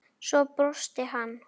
Svo brosti hann.